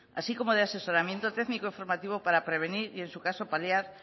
así como de asesoramiento técnico formativo para prevenir y en su caso paliar